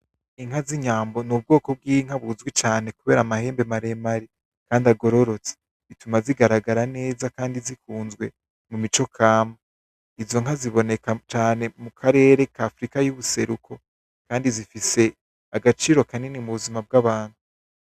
Inka z,inyambo ni ubwoko bw,inka buzwi cane kubera amahembe maremare kandi agororotse bituma zigaragara neza kandi zikunzwe mumico kama izo nka ziboneka cane mukarere k'Afirika y'ubuseruko kandi zifise agaciro kanini mubuzima bw'abantu.